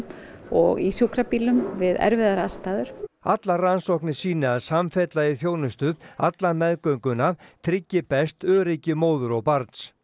og í sjúkrabílum við erfiðar aðstæður allar rannsóknir sýni að samfella í þjónustu alla meðgönguna tryggi best öryggi móður og barns